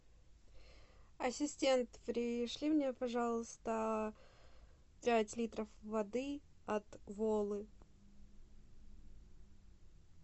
ассистент пришли мне пожалуйста пять литров воды от волы